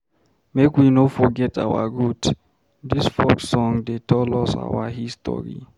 Make we no forget our root, dis folk song dey tell us our history.